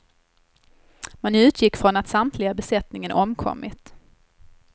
Man utgick från att samtliga i besättningen omkommit.